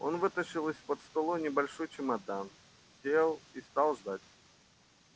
он вытащил из-под стола небольшой чемодан сел и стал ждать